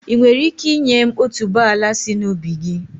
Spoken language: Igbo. Ị́ nwere ike ị́nye m otuboala sị na ubi gị?